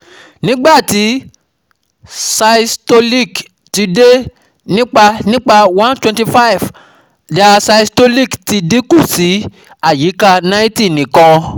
NIGBATI SYSTOLIC TI DE NIPA NIPA 125 DIASYSTOLIC ti dinku si ayika 90 NIKAN